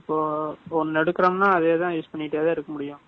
இப்போ, ஒண்ணு எடுக்குறோம்னா, அதே தான் use பண்ணிட்டே தான் இருக்க முடியும்